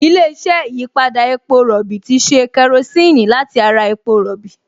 Ilé-iṣẹ́ ìyípadà epo rọ̀bì ti ṣe kerosíìnì láti ara epo rọ̀bì